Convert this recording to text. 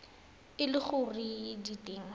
e le gore di teng